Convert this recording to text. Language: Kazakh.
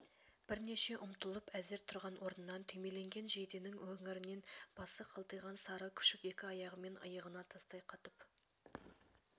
бірнеше ұмтылып әзер тұрған орнынан түймеленген жейденің өңірінен басы қылтиған сары күшік екі аяғымен иығына тастай қатып